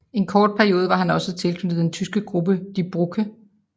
En kort periode var han også tilknyttet den tyske gruppe Die Brücke